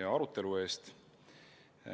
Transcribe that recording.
ja arutelu eest.